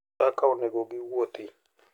Kaka onego giwuoth.